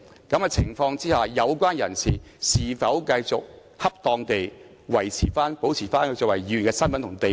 在這種情況下，有關人士是否繼續恰當地維持、保持作為議員的身份和地位？